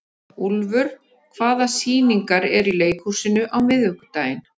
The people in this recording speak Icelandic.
Úlfur, hvaða sýningar eru í leikhúsinu á miðvikudaginn?